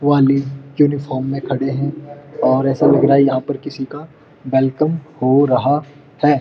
वाले यूनिफार्म में खड़े है और ऐसा लग रहा यहाँ पर किसी का वेलकम हो रहा है।